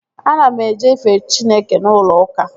Ana m eje ife Chineke n'ụlọ ụka